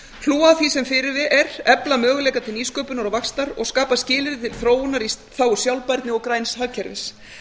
frú að því sem hér er efla möguleika til nýsköpunar og vaxtar og skapa skilyrði til þróunar í þágu sjálfbærni og græns hagkerfis